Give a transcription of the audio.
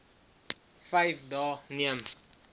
vyf dae neem